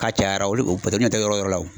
K'a cayara olu paske olu ɲɛ tɛ o yɔrɔ la wo.